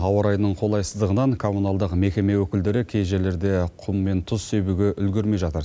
ауа райының қолайсыздығынан коммуналдық мекеме өкілдері кей жерлерде құм мен тұз себуге үлгермей жатыр